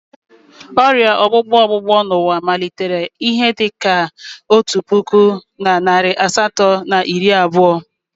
Ọrịa ọgbụgbọ ọgbụgbọ n'ụwa malitere n'ihe dị ka otu puku na narị asatọ na iri abụọ.